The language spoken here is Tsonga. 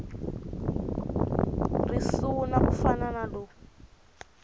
risuna ku fana na lowu